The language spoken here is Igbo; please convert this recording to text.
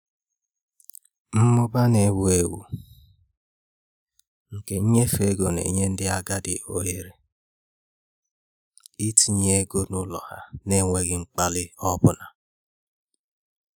Mmụba na-ewu ewu nke nnyefe ego na-enye ndị agadi ohere itinye ego n'ụlọ ha n'enweghị mgbalị ọ bụla.